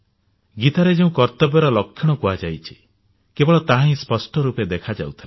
ଗୀତାରେ ଯେଉଁ କର୍ତ୍ତବ୍ୟର ଲକ୍ଷଣ କୁହାଯାଇଛି କେବଳ ତାହା ହିଁ ସ୍ପଷ୍ଟ ରୂପେ ଦେଖାଯାଉଥିଲା